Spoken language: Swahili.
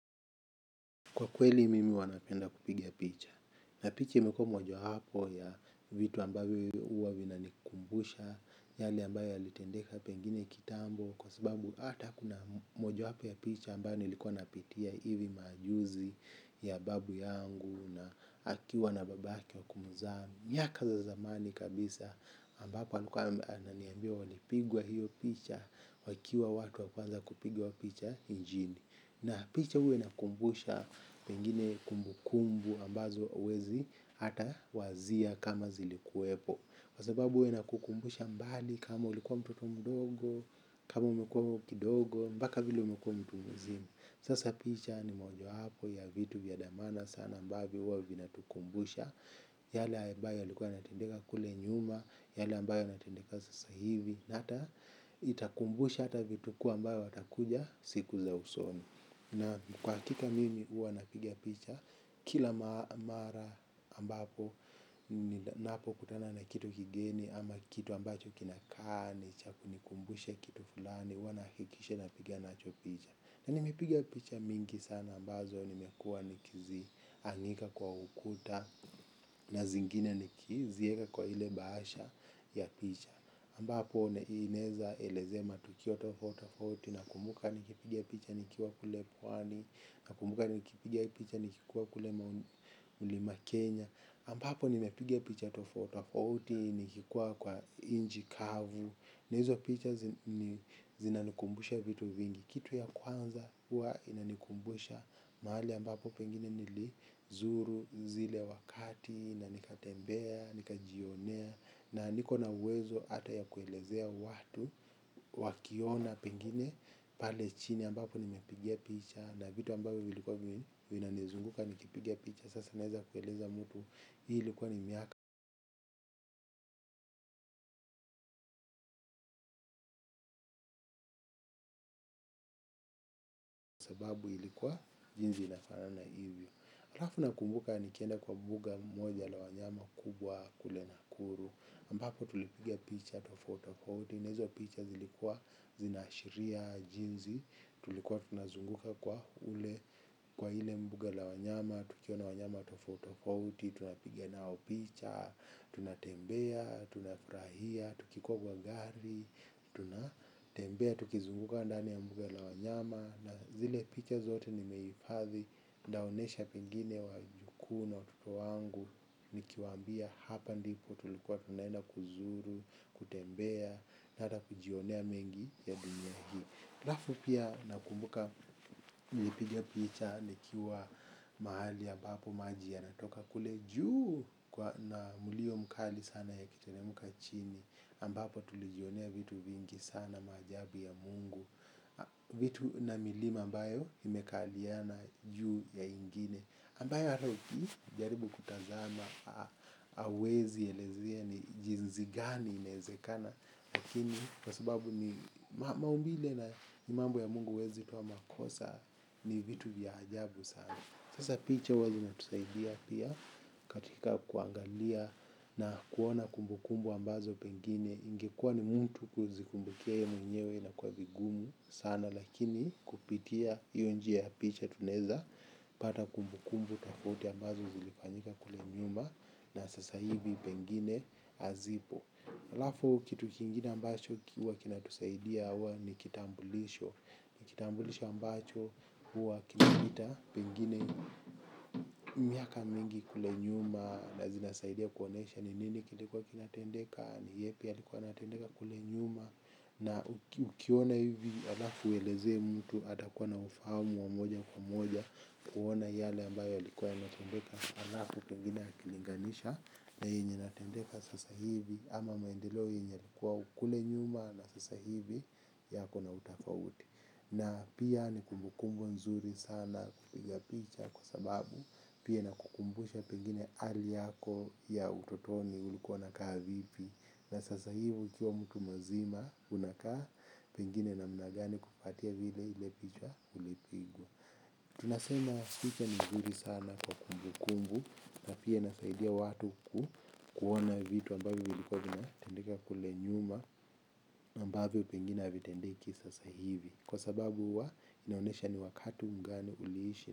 Kwa kweli mimi huwa napenda kupiga picha. Na picha imekuwa moja hapo ya vitu ambayo uwa vinanikumbusha. Yale ambayo yalitendeka pengine kitambo. Kwa sababu ata kuna moja wapo ya picha ambayo nilikuwa napitia hivi maajuzi ya babu yangu. Na akiwa na babake wa kumzaa miaka za zamani kabisa ambapo ananiambia walipigwa hiyo picha. Wakiwa watu wa kwanza kupigwa picha njini. Na picha uwa inakumbusha pengine kumbu kumbu ambazo uwezi hata wazia kama zilikuwepo kwa sababu uwa nnakukumbusha mbali kama ulikuwa mtoto mdogo, kama umekuwa kidogo, mbaka vile umekuwa mtu mzima. Sasa picha ni moja wapo ya vitu vya dhamana sana ambavyo huwa vina tukumbusha. Yale ambayo yalikuwa yanatendeka kule nyuma, yale ambayo yanatendeka sasa hivi. Na hata itakumbusha hata vitukuu ambayo watakuja siku za usoni. Na kwa hakika mimi huwa napiga picha kila mara ambapo napo kutana na kitu kigeni ama kitu ambacho kinakaa ni cha kunikumbusha kitu fulani huwa nahakikishe napiga nacho picha. Na nimepiga picha mingi sana ambazo nimekuwa nikizi anika kwa ukuta. Na zingine nikizieka kwa ile baasha ya picha ambapo neineza elezea matukio tofauti tofauti na kumbuka nikipiga picha nikiwa kule pwani. Nakumbuka nikipiga picha nikikuwa kule mlima Kenya Ambapo nimepiga picha tofaut tofauti nikikuwa kwa inchi kavu. Na hizo picha zinanikumbusha vitu vingi. Kitu ya kwanza huwa inanikumbusha mahali ambapo pengine nili zuru zile wakati na nikatembea, nikajionea. Na niko na uwezo ata ya kuelezea watu wakiona pengine pale chini ambapo nimepigia picha na vitu ambavyo vilikuwa vinanizunguka nikipiga picha. Sasa naeza kueleza mtu. Hii ilikuwa ni miaka sababu ilikuwa jinsi inafanana hivyo. Halafu nakumbuka nikienda kwa buga moja la wanyama kubwa kule nakuru ambapo tulipiga picha tofautofaiti na hizo picha zilikuwa zinaashiria jinzi. Tulikuwa tunazunguka kule. Kwa hile mbuga la wanyama tukiona wanyama tofauti tofauti tunapiga nao picha Tunatembea Tunafurahia Tukikogwa gari Tunatembea Tukizunguka ndani ya mbuga la wanyama. Na zile picha zote nimeifadhi. Ndaonesha pengine wajukuu na watoto wangu. Nikiwambia hapa ndipo tulikuwa tunaenda kuzuru Kutembea Na ata kujionea mengi ya dunia hi alafu pia nakumbuka. Nipiga picha nikiwa mahali ambapo maji yanatoka kule juu kwa na mulio mkali sana yakiteremuka chini ambapo tulijionea vitu vingi sana. Maajabu ya mungu. Vitu na milima ambayo imekaliana juu ya ingine ambayo hata ukijaribu kutazama hauwezi elezea ni jinzi gani. Inaezekana. Lakini kwa sababu ni maumbile na ni mambo ya mungu uwezi toa makosa ni vitu vya ajabu sana. Sasa picha huwa zina tusaidia pia katika kuangalia na kuona kumbukumbu ambazo pengine ingekua ni mtu kuzikumbukia yeye mwenyewe inakuwa vigumu sana. Lakini kupitia hiyo njia ya picha tunaeza pata kumbu kumbu tafauti ambazo zilifanyika kule nyuma. Na sasa hivi pengine azipo. Alafu kitu kingine ambacho huwa kinatusaidia huwa ni kitambulisho. Ni kitambulisho ambacho huwa kinapita pengine miaka mingi kule nyuma. Na zinasaidia kuonesha ni nini kilikuwa kinatendeka ni yapi yalikuwa yanatendeka kule nyuma. Na ukiona hivi alafu ueleze mtu atakuwa na ufahamu wa moja kwa moja kuona yale ambayo alikuwa kinatendeka alafu pengine akilinganisha na yenye yanatendeka sasa hivi ama maendeleo yenye yalikuwa kule nyuma na sasa hivi yako na utafauti. Na pia ni kumbu kumbu nzuri sana kupiga picha kwa sababu pia na ikukumbusha pengine hali yako ya utotoni ulikuwa nakaa vipi. Na sasa hivi ukiwa mtu mazima unakaa pengine namna gani kufuatia vile ile picha ulipigwa. Tunasema picha ni nzuri sana kwa kumbu kumbu na pia inasaidia watu kuona vitu ambavyo vilikuwa vinatendeka kule nyuma ambavyo pengine havitendeki sasa hivi kwa sababu huwa inaonesha ni wakati mgani uliishi.